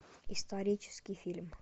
исторический фильм